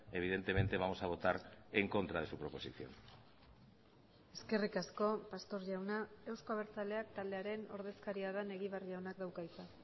evidentemente vamos a votar en contra de su proposición eskerrik asko pastor jauna euzko abertzaleak taldearen ordezkaria den egibar jaunak dauka hitza